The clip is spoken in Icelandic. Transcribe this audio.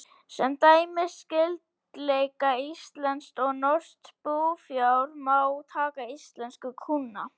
Sem dæmi um skyldleika íslensks og norsks búfjár má taka íslensku kúna.